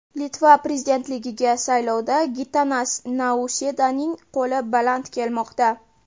Litva prezidentligiga saylovda Gitanas Nausedaning qo‘li baland kelmoqda.